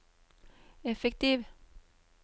effektiv